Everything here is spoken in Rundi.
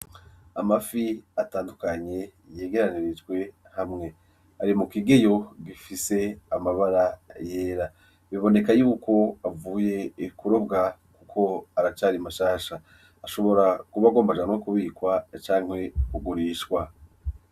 Amafi atandukanye yegeranirijwe hamwe, ari mukigeyo gifise amabara yera ,biboneka yuko avuye kurobwa Kuko aracari mashasha. ashobora kuba agomba ajanwe kubikwa canke kugurishwa .